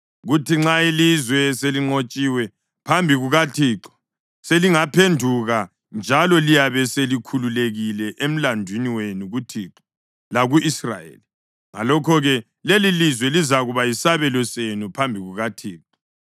kuthi nxa ilizwe selinqotshiwe phambi kukaThixo selingaphenduka njalo liyabe selikhululekile emlandwini wenu kuThixo laku-Israyeli. Ngalokho-ke lelilizwe lizakuba yisabelo senu phambi kukaThixo.